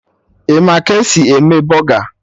Ị ma ka esi eme bọga?